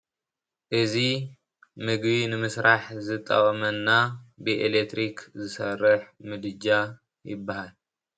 እዚ ምግቢ ንምስራሕ ዝጠቅመና ብኤሌክትሪክ ዝሰርሕ ምድጃ ይበሃል፡፡